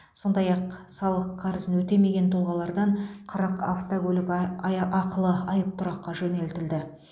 сондай ақ салық қарызын өтемеген тұлғалардан қырық автокөлік ақылы аайя айыптұраққа жөнелтілді